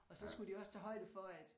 Og så skulle de jo også tage højde for at